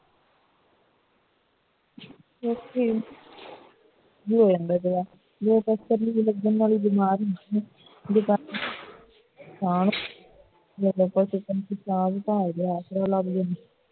ਇੱਥੇ ਕੀ ਹੁੰਦੈ ਪਹਿਲਾਂ ਬਿਮਾਰ ਹਾਂ